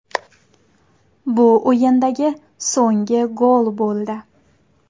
Bu o‘yindagi so‘nggi gol bo‘ldi.